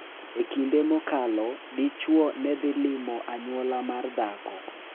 E kinde mokalo, dichuo ne dhi limo anyuola mar dhako .